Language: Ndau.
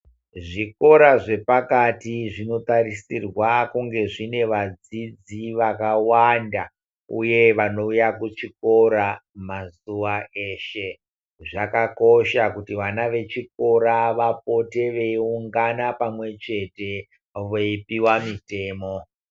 Zvikora zvepakati zvinotarisirwa kunge zvine vadzidzi vakawanda uye vanouya kuchikora mazuwa eshe. Zvakakosha kuti vana vechikora vapote veiungana pamwechete veipiwa mitemo.